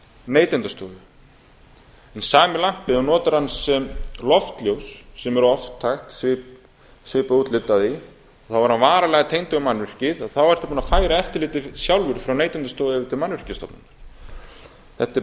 neytendastofu en sami lampi ef þú notar hann sem loftljós sem er oft hægt svipað útlit á því þá er hann varanlega tengdur mannvirki og þá ertu búinn að færa eftirlitið sjálfur frá neytendastofu yfir til mannvirkjastofnunar þetta